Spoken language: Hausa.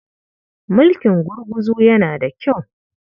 Mulkin gurguzu yana da kyau.